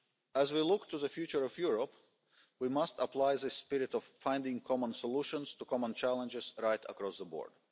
As we look to the future of Europe, we must apply this spirit of finding common solutions to common challenges right across the board.